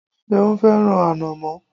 Ṣeun fẹ́ràn ànọ̀mó.